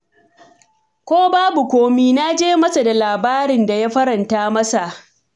Ko babu komai, na je masa da labarin da ya faranta masa.